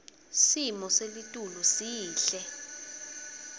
simo selitulu sihle